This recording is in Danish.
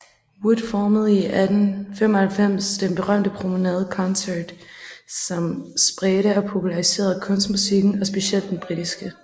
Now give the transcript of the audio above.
Wood formede i 1895 den berømte Promenade Concert som spredte og populariserede kunstmusikken og specielt den britiske